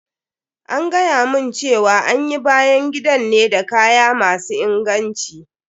An gayamun cewa an yi bayan gidan ne da kaya masu inganci.